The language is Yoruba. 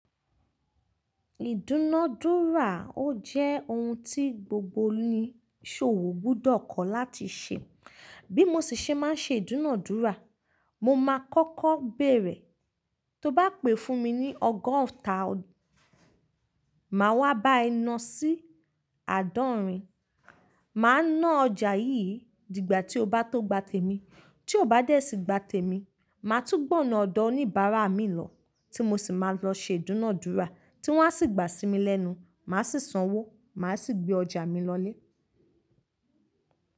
Ìdúnadúrà ó jẹ́ oun tí gbogbo oniṣòwò gbudọ̀ kọ́ láti ṣe. Bí mo sì ṣe máa ń ṣe ìdúnadúrà, mo máa kọ́kọ́ bèrè, tó bá pè fún mi ní ọgọ́ta, màá wá bá ẹ na sí àádọ́rin. Màá ná ọjà yíì dìgbà tí ó bá tó gba tèmi. Tí ó bá dẹ̀ sí gba tèmi, màá tú gbọ̀ na ọ̀dọ̀ oníbàárà mi lọ, tí mo sì máa lọ ṣe ìdúnadúrà. Tí wọ́n á sì gbà sí mi lẹ́nu, màá sì sanwó, màá sì gbé ọjà mi lọlé.